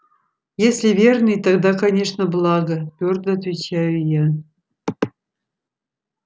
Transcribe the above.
если верный тогда конечно благо твёрдо отвечаю я